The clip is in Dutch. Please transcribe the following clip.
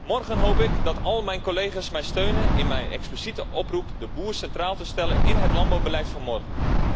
Morgen hoop ik dat al mijn collega's mij steunen in mijn expliciete oproep de boer centraal te stellen in het landbouwbeleid van morgen.